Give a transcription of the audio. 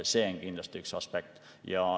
See on kindlasti üks aspekt.